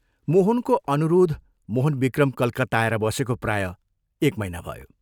मोहनको अनुरोध मोहनविक्रम कलकत्ता आएर बसेको प्रायः एक महीना भयो।